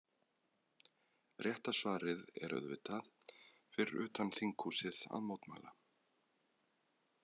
Rétt svar er auðvitað: Fyrir utan þinghúsið að mótmæla.